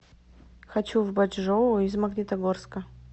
хочу в бачжоу из магнитогорска